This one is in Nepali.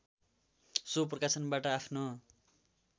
सो प्रकाशबाट आफ्नो